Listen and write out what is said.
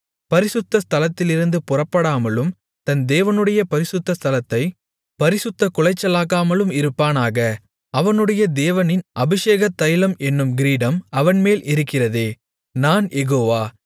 பரிசுத்த ஸ்தலத்திலிருந்து புறப்படாமலும் தன் தேவனுடைய பரிசுத்த ஸ்தலத்தைப் பரிசுத்தக் குலைச்சலாக்காமலும் இருப்பானாக அவனுடைய தேவனின் அபிஷேக தைலம் என்னும் கிரீடம் அவன்மேல் இருக்கிறதே நான் யெகோவா